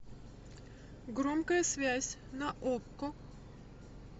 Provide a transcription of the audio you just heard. громкая связь на окко